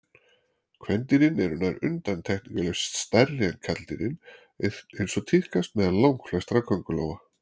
Kvendýrin eru nær undantekningarlaust stærri en karldýrin eins og tíðkast meðal langflestra köngulóa.